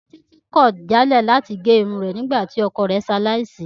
Títí kọ̀ jálẹ̀ láti gé irun rẹ̀ nígbà tí ọkọ rẹ ṣe aláìsí